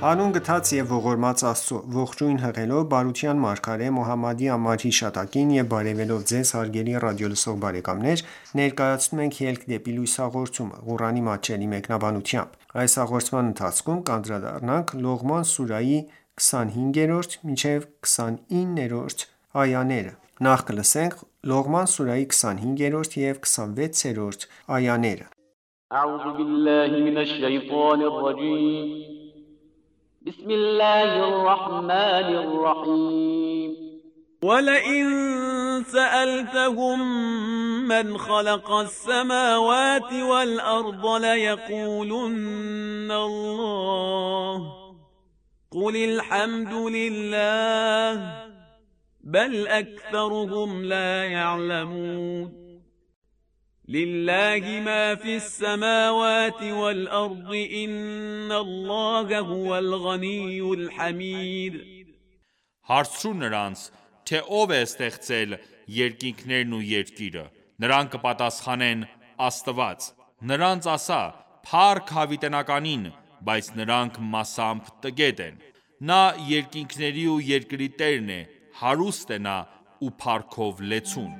Հանուն գթած և ողորմած Աստծո: Ողջույն հղելով բարության մարգարե Մոհամմադի անմար հիշատակին եւ բարեւելով Ձեզ հարգելի ռադիոլսող բարեկամներ, ներկայացնում ենք «Ելք դեպի լույս» հաղորդումը, Ղուրանի մատչելի մեկնաբանությամբ: Լողման սուրահի 25-րդ և 26-րդ այաներ لِلَّهِ مَا فِی السَّمَاوَاتِ وَالْأَرْضِ ۚ إِنَّ اللَّهَ هُوَ الْغَنِیُّ الْحَمِیدُ Հարցրու նրանց, թե ո՞վ է ստեղծել երկինքներն ու երկիրը: Նրանք կպատասխանեն՝ Աստված: (Նրանց) ասա. «Փառք Հավիտենականին», բայց նրանք մասամբ տգետ են: Նա երկինքների ու երկրի տերն է: Հարուստ է Նա ու փառքով լեցուն: